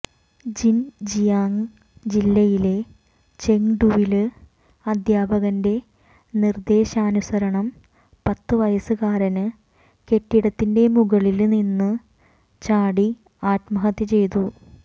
Xinjiang ജില്ലയിലെ ചെങ്ഡുവില് അധ്യാപകന്റെ നിര്ദേശാനുസരണം പത്തുവയസുകാരന് കെട്ടിടത്തിന്റെ മുകളില് നിന്നു ചാടി ആത്മഹത്യ ചെയ്തു